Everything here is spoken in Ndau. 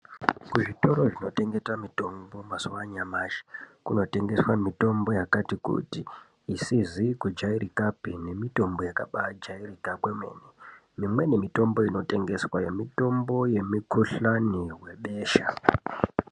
Kuzvitoro zvinotengesa mitombo mazuwa anyamashi kunotengeswa mitombo yakati kuti, isizi kujairikapi nemitombo yakabaajairika kwemene. Imweni mitombo inotengeswayo mitombo yemikuhlani webesha.